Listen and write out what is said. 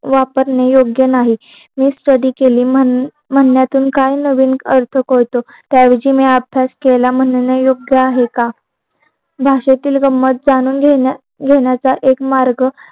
वापरणे योग्य नाहीत मी स्टडी केली म्हण्यातून काय नवीन अर्थ कळतो त्या ऐवजी मी अभ्यास केला म्हणे योग्य आहे का भाषेतील गंमत जाणून घेण्याचा ऐक मार्ग